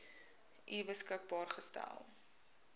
u beskikbaar gestel